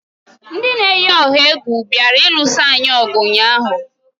Ndị na-eyi ọha egwu bịara ịlụsa anyị ọgụ ụnyaahụ.